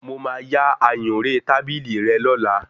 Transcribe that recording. Mo máa yá ayùnré tábìlì rẹ lọ́la